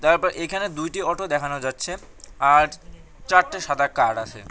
App এইখানে দুইটি auto দেখানো যাচ্ছে আর চারটে সাদা কার আসে।